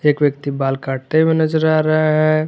एक व्यक्ति बाल काटते हुए नजर आ रहा है।